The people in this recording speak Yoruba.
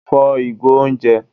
fò igò oúnjẹ!